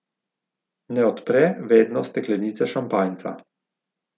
Ne odpre vedno steklenice šampanjca.